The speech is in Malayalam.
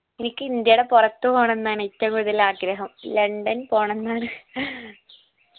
എനിക്ക് ഇന്ത്യയേടെ പൊറത്ത് പോണംന്നാണ് ഏറ്റവും കൂടുതൽ ആഗ്രഹം ലണ്ടൻ പോണംന്നാണ്